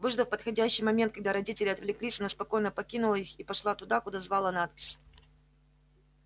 выждав подходящий момент когда родители отвлеклись она спокойно покинула их и пошла туда куда звала надпись